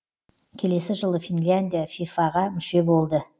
келесі жылы финляндия фифа ға мүше болды